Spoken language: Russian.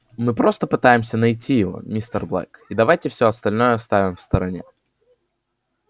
мы просто пытаемся найти его мистер блэк и давайте все остальное оставим в стороне